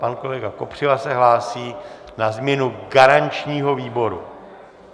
Pak kolega Kopřiva se hlásí na změnu garančního výboru.